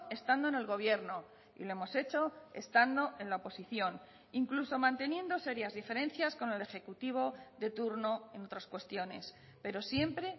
estando en el gobierno y lo hemos hecho estando en la oposición incluso manteniendo serias diferencias con el ejecutivo de turno en otras cuestiones pero siempre